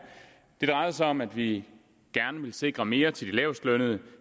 det drejede sig om at vi gerne ville sikre mere til de lavest lønnede